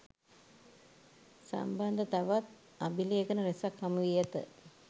සම්බන්ධ තවත් අභිලේඛන රැසක් හමුවී ඇත.